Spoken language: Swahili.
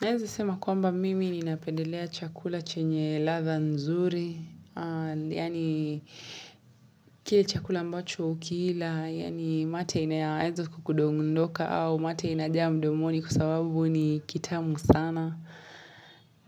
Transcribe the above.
Naeza sema kwamba mimi ni napendelea chakula chenye ladha nzuri. Yaani kile chakula ambacho ukiila. Yaani mate inayaeza kukundondoka au mate inajaa mdomoni kwa sababu ni kitamu sana.